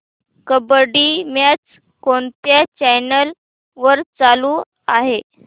kabaddi match कोणत्या channel वर चालू आहे